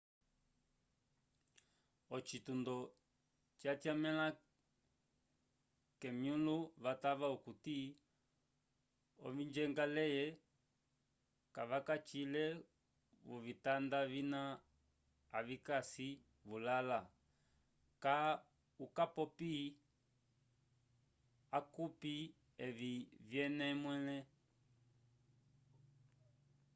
ocitundo cyatyamela kemyulo vatava okuti ovingendaleyi cavacagile vovitanda vina avikasi vulala cka ukapopi awcopi evi vyene mwele